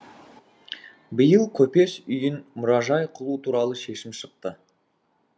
биыл көпес үйін мұражай қылу туралы шешім шықты